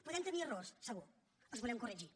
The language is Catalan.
podem tenir errors segur els volem corregir